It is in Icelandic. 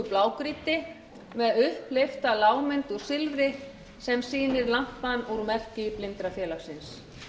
blágrýti með upphleypta lágmynd úr silfri sem sýnir lampann úr merki blindrafélagsins